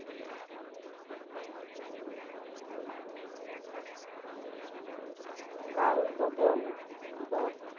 Kalyavan Badh.